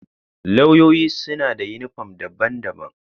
Lauyoyin suna da uniform daban-daban.